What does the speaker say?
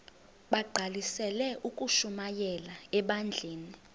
bagqalisele ukushumayela ebandleni